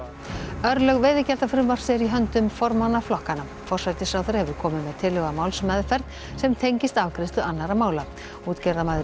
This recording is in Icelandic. örlög veiðigjaldafrumvarps eru í höndum formanna flokkanna forsætisráðherra hefur komið með tillögu að málsmeðferð sem tengist afgreiðslu annarra mála útgerðarmaður í